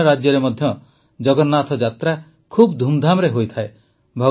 ଅନ୍ୟ ରାଜ୍ୟରେ ମଧ୍ୟ ଜଗନ୍ନାଥଙ୍କ ରଥଯାତ୍ରା ଖୁବ୍ ଧୁମଧାମରେ ହୋଇଥାଏ